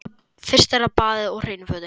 Fyrst er það baðið og hreinu fötin.